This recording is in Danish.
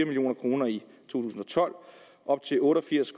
million kroner i to tusind og tolv op til otte og firs